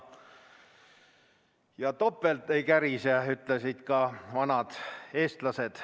Topelt ei kärise, ütlesid juba vanad eestlased.